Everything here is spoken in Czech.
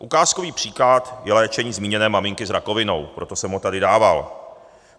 Ukázkový příklad je léčení zmíněné maminky s rakovinou, proto jsem ho tady dával.